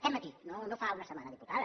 aquest matí no fa una setmana diputada